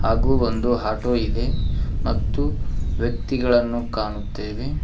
ಹಾಗೂ ಒಂದು ಆಟೋ ಇದೆ ಮತ್ತು ವ್ಯಕ್ತಿಗಳನ್ನು ಕಾಣುತ್ತೇವೆ.